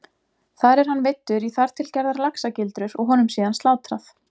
Þar er hann veiddur í þar til gerðar laxagildrur og honum síðan slátrað.